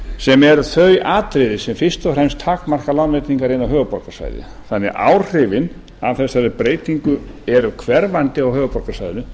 sem eru þau atriði sem fyrst og fremst takmarka lánveitingar inn á höfuðborgarsvæðið þannig að áhrifin af þessari breytingu eru hverfandi á höfuðborgarsvæðinu